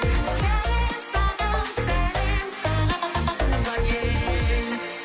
сәлем саған сәлем саған туған ел